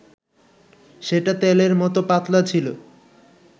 সেটা তেলের মত পাতলা ছিল